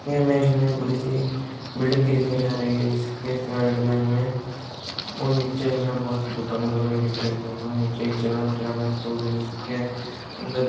यह इमेज हमें एक बड़ी सी बिल्डिंग की दिखाई जा रही है जिसके साइड में हमें और नीचे हमें बहोत सी दुकाने बनी हुई दिख रही है। वहां नीचे एक जनरल किराना स्टोर है जिसके अंदर --